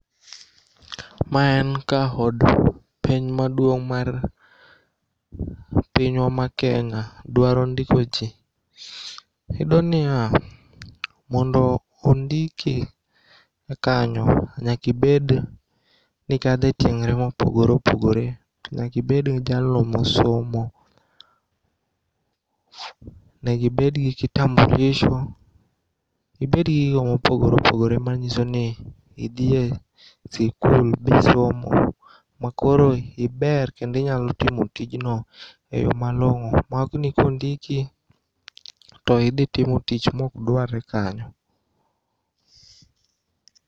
Ma en ka od penj maduong' mar pinywa ma Kenya dwaro ndikoji iyudoniya mondo ondiki kanyo nyakibed nikadhe tieng're mopogore opogore. To nyakibed jalno mosomo. Negibedgi kitambulisho, ibedgi gigo mopogore opogore manyisoni idhie sikul bisomo makoro iber kendo inyalo timo tijno e yoo malong'o maokni kondiki idhitimo timo tich mokduarre kanyo.